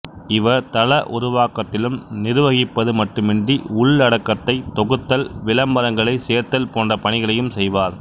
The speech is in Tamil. இவர் தள உருவாக்கத்திலும் நிர்வகிப்பது மட்டுமின்றி உள்ளடக்கத்தை தொகுத்தல் விளம்பரங்களைச் சேர்த்தல் போன்ற பணிகளையும் செய்வார்